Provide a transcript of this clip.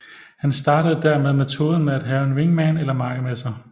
Han startede dermed metoden med at have en wingman eller makker med sig